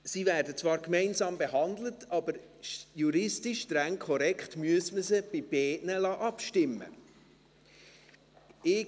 Sie werden zwar gemeinsam behandelt, aber juristisch streng korrekt müsste man sie bei beiden abstimmen lassen.